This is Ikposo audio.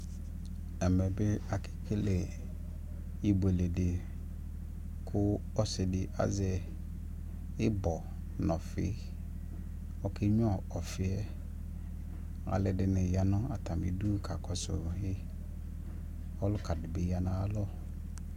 ɛmɛ bi akɛ kɛlɛ ɛbʋɛlɛ di kʋ ɔsiidi azɛ ibɔ nʋ ɔfii, ɔkɛ nyʋa ɔfiiɛ ,alʋɛdini yanʋ atami idʋ kakɔsʋ ɔwliɔɛ, ɔlʋka dibdi yanʋ atami alɔ